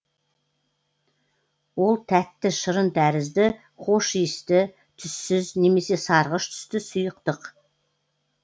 ол тәтті шырын тәрізді хош иісті түссіз немесе сарғыш түсті сұйықтық